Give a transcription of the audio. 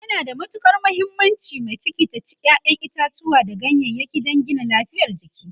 yana da muhimmanci mai ciki ta ci ƴaƴan itatauwa da ganyayaki dan Gina lafiyar jiki